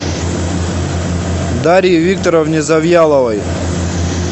дарье викторовне завьяловой